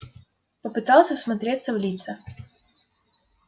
попытался всмотреться в лица